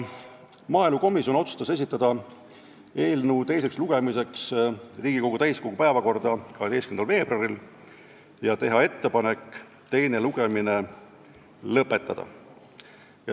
Maaelukomisjon otsustas esitada eelnõu teiseks lugemiseks Riigikogu täiskogu päevakorda 12. veebruariks ja teha ettepaneku teine lugemine lõpetada.